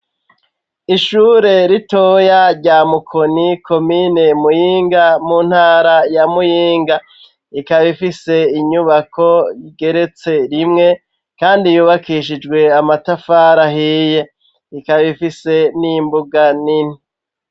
Ishure ritoya rya mukoni komine muhinga mu ntara ya muyinga ikaba ifise inyubako igeretse rimwe kandi yubakishijwe amatafari ahiye ikaba ifise n'imbuga nini.